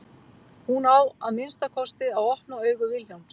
Hún á að minnsta kosti að opna augu Vilhjálms.